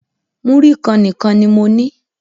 Múrí kan nìkan ní mo ní.